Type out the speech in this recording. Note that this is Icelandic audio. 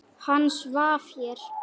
Hann svaf hér.